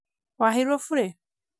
waheirwo bure?